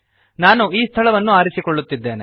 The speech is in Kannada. ನಾನು ಈ ಸ್ಥಳವನ್ನು ಆರಿಸಿಕೊಳ್ಳುತ್ತಿದ್ದೇನೆ